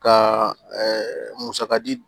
Ka musaka di